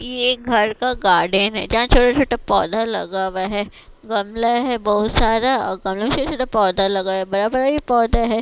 ये एक घर का गार्डन है जहां छोटा-छोटा पौधा लगा हुआ है गमला है बहुत सारा और गमला में छोटा-छोटा पौधा लगा है बड़ा-बड़ा भी पौधा है।